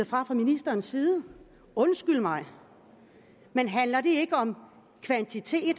fra ministerens side undskyld mig men handler det ikke om kvantitet i